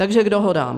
Takže k dohodám.